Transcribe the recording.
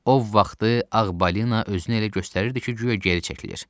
O vaxtı Ağ Balina özünü elə göstərirdi ki, guya geri çəkilir.